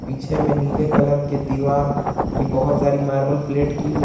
पीछे में नीले कलर के दीवार की बहोत सारी मार्बल प्लेट की हुई--